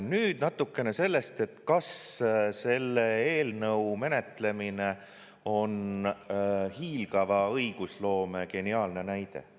Nüüd natukene sellest, et kas selle eelnõu menetlemine on hiilgava õigusloome geniaalne näide.